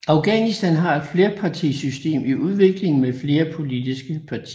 Afghanistan har et flerpartisystem i udvikling med flere politiske partier